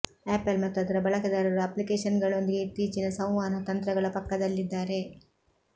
apple ಮತ್ತು ಅದರ ಬಳಕೆದಾರರು ಅಪ್ಲಿಕೇಷನ್ಗಳೊಂದಿಗೆ ಇತ್ತೀಚಿನ ಸಂವಹನ ತಂತ್ರಗಳ ಪಕ್ಕದಲ್ಲಿದ್ದಾರೆ